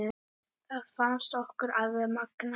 Það fannst okkur alveg magnað.